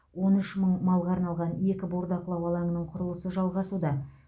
он үш мың малға арналған екі бордақылау алаңының құрылысы жалғасуда